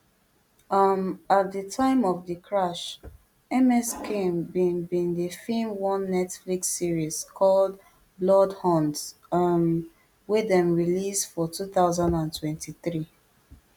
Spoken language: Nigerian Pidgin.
um at di time of di crash ms kim bin bin dey feem one netflix series called bloodhounds um wey dem release for two thousand and twenty-three